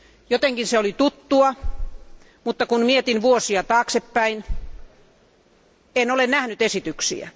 Jotenkin se oli tuttua, mutta kun mietin vuosia taaksepäin, en ole nähnyt esityksiä.